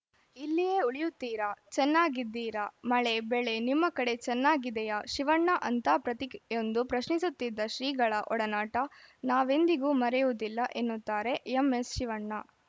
ಇಲ್ಲಿಯೇ ಉಳಿಯುತ್ತೀರಾ ಚೆನ್ನಾಗಿದ್ದೀರಾ ಮಳೆ ಬೆಳೆ ನಿಮ್ಮ ಕಡೆ ಚೆನ್ನಾಗಿದೆಯಾ ಶಿವಣ್ಣ ಅಂತಾ ಪ್ರತಿಯೊಂದು ಪ್ರಶ್ನಿಸುತ್ತಿದ್ದ ಶ್ರೀಗಳ ಒಡನಾಟ ನಾವೆಂದಿಗೂ ಮರೆಯುವುದಿಲ್ಲ ಎನ್ನುತ್ತಾರೆ ಎಂಎಸ್‌ಶಿವಣ್ಣ